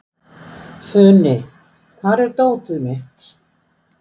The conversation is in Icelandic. Funi, hvar er dótið mitt?